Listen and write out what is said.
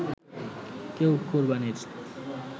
কেউ কোরবানির